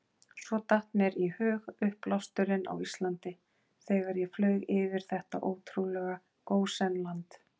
Svo datt mér í hug uppblásturinn á Íslandi, þegar ég flaug yfir þetta ótrúlega gósenland.